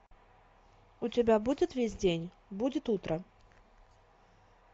у тебя будет весь день будет утро